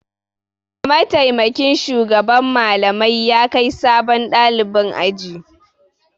Mataimakin shugaban Mallamai ya kai sabon ɗalibin aji.